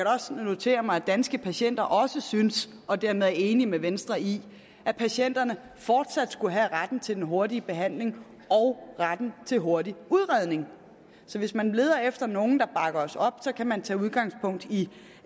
også notere mig at danske patienter også synes og dermed er enig med venstre i at patienterne fortsat skulle have retten til den hurtige behandling og retten til hurtig udredning så hvis man leder efter nogen der bakker os op så kan man tage udgangspunkt i